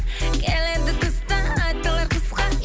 келеді тыстан айтылар қысқа